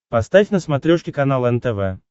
поставь на смотрешке канал нтв